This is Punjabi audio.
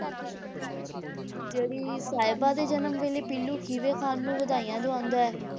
ਜਿਹੜੀ ਸਾਹਿਬਾਂ ਦੇ ਜਨਮ ਵੇਲੇ ਪੀਲੂ ਖੀਵੇ ਖਾਨ ਨੂੰ ਵਧਾਈਆਂ ਦਵਾਉਂਦਾ ਹੈ,